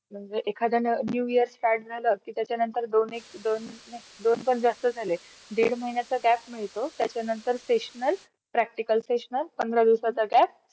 मैत्रीचे कोणतेही नियम नाहीयेत का त्याला पाडावेत असे नाही . कोणाबरोबर मैत्री करावी याबदल निचूक नियम असू शकत नाही.अ मैत्री कोणत्याही अवस्थेत होत नाहीत ती आपोप आपोप होते.